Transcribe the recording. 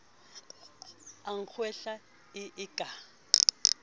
a kgwehla e e ka